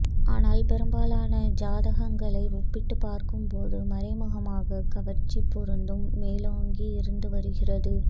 ஆனால் பெரும்பாலான ஜாதகங்களை ஒப்பிட்டு பார்க்கும் போது மறைமுகமாக கவர்ச்சிப் பொருத்தம் மேலோங்கி இருந்துவருகிறது